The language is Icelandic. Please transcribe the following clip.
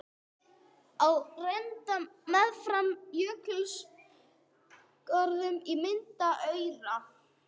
Ár renna meðfram jökulgörðunum og mynda aura.